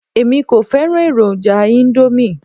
Èmi kò fẹ́ràn èròjà íńdómì.